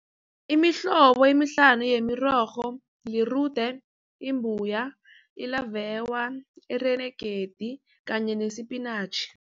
Imihlobo emihlanu yemirorho, lirude, imbuya, ilavewa, ireregedi kanye nesipinatjhi.